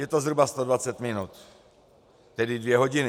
Je to zhruba 120 minut, tedy dvě hodiny.